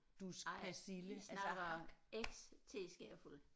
Nej vi snakker X teskefulde